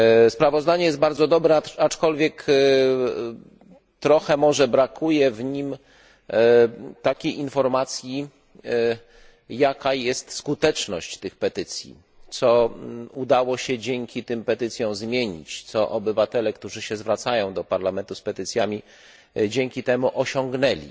Sprawozdanie jest bardzo dobre, aczkolwiek trochę może brakuje w nim takiej informacji, jaka jest skuteczność tych petycji, co udało się dzięki tym petycjom zmienić, co obywatele, którzy się zwracają do Parlamentu z petycjami, dzięki temu osiągnęli.